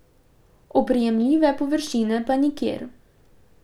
Oprijemljive površine pa nikjer.